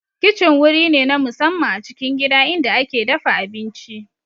Kicin wuri ne na musamman a cikin gida inda ake dafa abinci